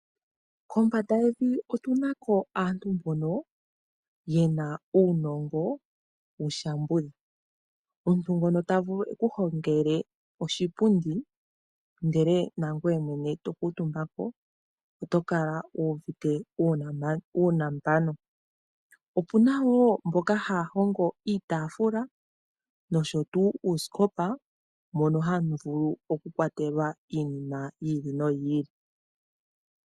Kombanda yevi otunako aantu mbono yena uunongo wushambudha. Omuntu ngono tavulu ekuhongele oshipundi ndele nangoye mwene tokuutumbako oto kala wuuvite uunambano. Opuna wo mboka haya hongo iitaafula nosho tu uusikopa mono hamuvulu okukwatelwa iinima yi ili noyi ili.